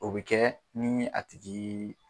O be kɛ ni a tigii